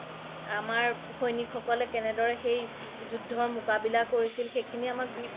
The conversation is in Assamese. আমাৰ সৈনিক সকলে কেনেদৰে সেই যুদ্ধৰ মুকাবিলা কৰিছিল সেইখিনি